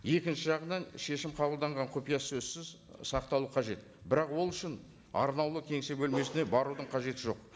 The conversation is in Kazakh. екінші жағынан шешім қабылданған кұпия сөзсіз сақталу қажет бірақ ол үшін арнаулы кеңсе бөлмесіне барудың қажеті жоқ